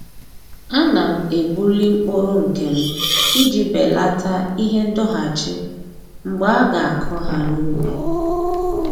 A na m ebuli mkpụrụ nke m iji belata ihe ndọghachi mgbe a ga-akụ ha n'ubi